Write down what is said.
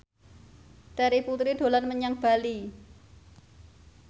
Terry Putri dolan menyang Bali